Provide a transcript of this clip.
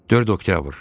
4 oktyabr.